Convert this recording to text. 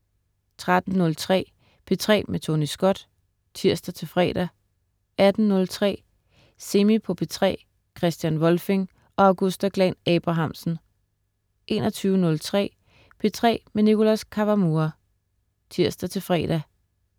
13.03 P3 med Tony Scott (tirs-fre) 18.03 Semi på P3 Christian Volfing og Augusta Glahn-Abrahamsen 21.03 P3 med Nicholas Kawamura (tirs-fre)